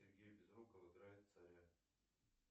сергей безруков играет царя